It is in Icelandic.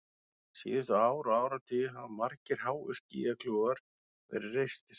Síðustu ár og áratugi hafa margir háir skýjakljúfar verið reistir.